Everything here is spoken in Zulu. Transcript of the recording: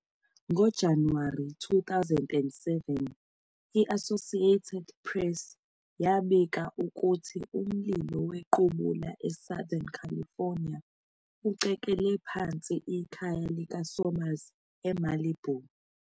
NgoJanuwari 9, 2007, i-Associated Press yabika ukuthi umlilo wequbula eSouthern California ucekele phansi ikhaya likaSomers eMalibu.